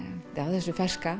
þessu ferska